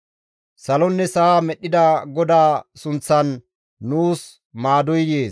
Salonne sa7a medhdhida GODAA sunththan nuus maadoy yees.